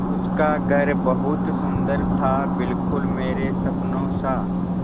उसका घर बहुत सुंदर था बिल्कुल मेरे सपनों सा